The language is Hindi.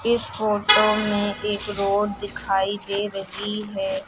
इस फोटो में एक रोड दिखाई दे रही हैं।